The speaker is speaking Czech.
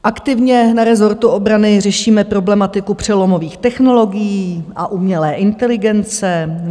Aktivně na rezortu obrany řešíme problematiku přelomových technologií a umělé inteligence.